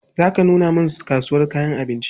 Za ka nuna min kasuwar kayan abinci?